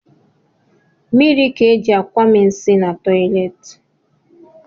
Mmiri ka e ji akwami nsi na toleti